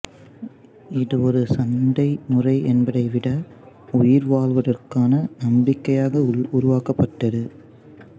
இது ஒரு சண்டை முறை என்பதைவிட உயிர்வாழ்வதற்கான நம்பிக்கையாக உருவாக்கப்பட்டது